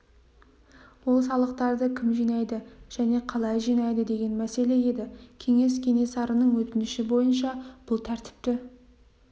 ол салықтарды кім жинайды және қалай жинайды деген мәселе еді кеңес кенесарының өтініші бойынша бұл тәртіпті